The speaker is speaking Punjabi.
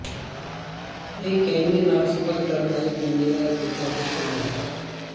ਇਹ ਕੈਨਿਯਨ ਨਾਲ ਸੰਪਰਕ ਕਰਨ ਦਾ ਇੱਕ ਮਜ਼ੇਦਾਰ ਤਰੀਕਾ ਹੋ ਸਕਦਾ ਹੈ